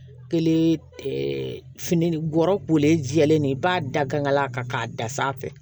Kelen fini gɔrɔ pejɛlen de ye i b'a da gangala kan k'a da sanfɛ